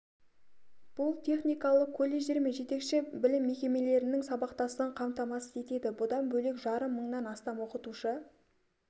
бұл техникалық колледждер мен жетекші білім мекемелерінің сабақтастығын қамтамасыз етеді бұдан бөлек жарым мыңнан астам оқытушы